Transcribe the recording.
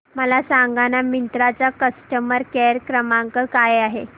मला सांगाना मिंत्रा चा कस्टमर केअर क्रमांक काय आहे